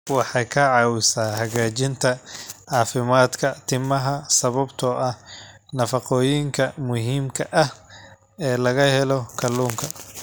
Waxay ka caawisaa hagaajinta caafimaadka timaha sababtoo ah nafaqooyinka muhiimka ah ee laga helo kalluunka.